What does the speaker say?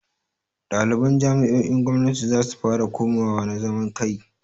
Ɗaliban jami'o'in gwamnati zasu fara komawa na zaman kai.